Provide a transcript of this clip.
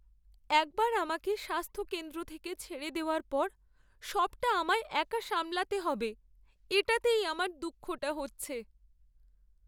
একবার আমাকে স্বাস্থ্যকেন্দ্র থেকে ছেড়ে দেওয়ার পর সবটা আমায় একা সামলাতে হবে এটাতেই আমার দুঃখটা হচ্ছে।